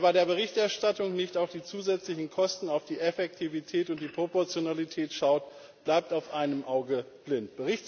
Wer bei der Berichterstattung nicht auf die zusätzlichen Kosten, auf die Effektivität und die Proportionalität schaut, bleibt auf einem Auge blind.